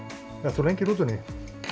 ertu lengi í rútunni